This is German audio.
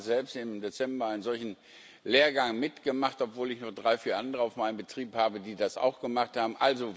Ich habe gerade selbst im Dezember einen solchen Lehrgang mitgemacht, obwohl ich noch drei, vier andere auf meinem Betrieb habe, die das auch gemacht haben.